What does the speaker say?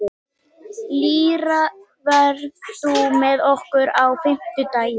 Lýra, ferð þú með okkur á fimmtudaginn?